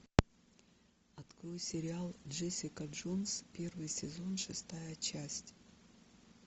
открой сериал джессика джонс первый сезон шестая часть